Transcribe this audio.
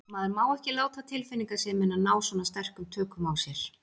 Maður má ekki láta tilfinningasemina ná svona sterkum tökum á sér.